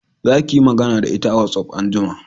Za ki yi magana da ita a watsaf anjima